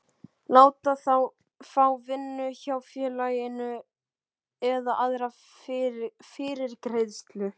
láta þá fá vinnu hjá félaginu eða aðra fyrirgreiðslu.